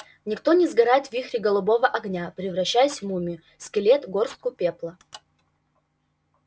никто не сгорает в вихре голубого огня превращаясь в мумию скелет горстку пепла